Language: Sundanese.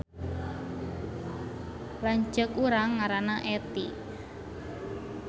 Lanceuk urang ngaranna Etty